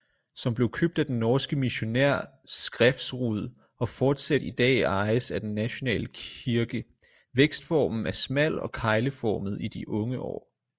Som blev købt af den norske missionær skrefsrud og fortsat i dag ejes af den nationale kirkeVækstformen er smal og kegleformet i de unge år